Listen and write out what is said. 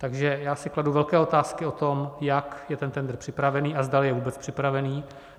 Takže já si kladu velké otázky o tom, jak je ten tendr připravený a zdali je vůbec připravený.